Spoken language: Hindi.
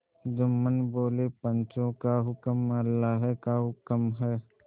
जुम्मन बोलेपंचों का हुक्म अल्लाह का हुक्म है